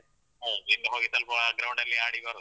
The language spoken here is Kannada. ಹೌದು. ಇನ್ನು ಹೋಗಿ ಸ್ವಲ್ಪ ground ಅಲ್ಲಿ ಆಡಿ ಬರುದು.